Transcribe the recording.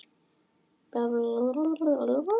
Við vitum að þetta verður erfitt en við erum jákvæðir.